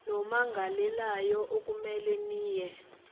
nommangalelayo okumele niye